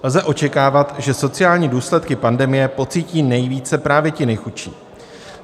Lze očekávat, že sociální důsledky pandemie pocítí nejvíce právě ti nejchudší.